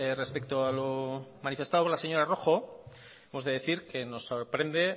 respecto a lo manifestado por la señora rojo hemos de decir que nos sorprende